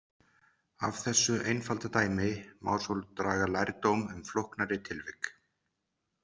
Af þessu einfalda dæmi má svo draga lærdóm um flóknari tilvik.